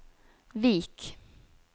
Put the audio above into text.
Vik